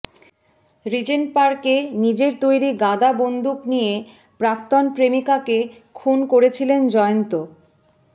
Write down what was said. Regent পার্কে নিজের তৈরি গাদা বন্দুক দিয়ে প্রাক্তন প্রেমিকাকে খুন করেছিলেন জয়ন্ত